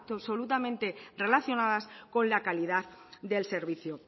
absolutamente relacionadas con la calidad del servicio